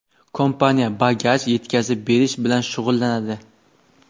kompaniya bagaj (yuk) yetkazib berish bilan shug‘ullanadi.